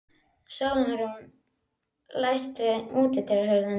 Sólrún, læstu útidyrunum.